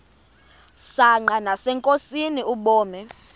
msanqa nasenkosini ubume